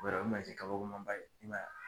I b'a dɔn o ye mansin kabakoman ba ye. I m'a ye wa!